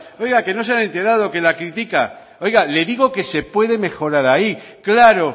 oiga que no se han enterado que la critica oiga le digo que se puede mejorar ahí claro